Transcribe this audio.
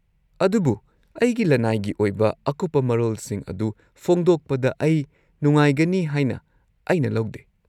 -ꯑꯗꯨꯕꯨ ꯑꯩꯒꯤ ꯂꯅꯥꯏꯒꯤ ꯑꯣꯏꯕ ꯑꯀꯨꯞꯄ ꯃꯔꯣꯜꯁꯤꯡ ꯑꯗꯨ ꯐꯣꯡꯗꯣꯛꯄꯗ ꯑꯩ ꯅꯨꯡꯉꯥꯏꯒꯅꯤ ꯍꯥꯏꯅ ꯑꯩꯅ ꯂꯧꯗꯦ꯫